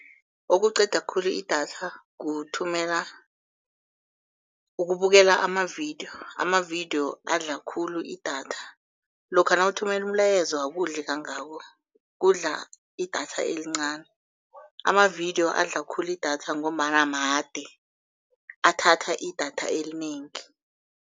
Okuqeda khulu idatha kuthumela, ukubukela amavidiyo, amavidiyo adla khulu idatha. Lokha nawuthumela umlayezo akudli kangako, kudla idatha elincani. Amavidiyo adla khulu idatha ngombana made, athatha idatha elinengi.